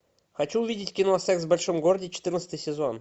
хочу увидеть кино секс в большом городе четырнадцатый сезон